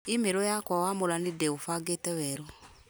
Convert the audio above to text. i-mĩrũ yakwa wamũrani ndĩũbange werũ